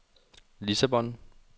Lissabon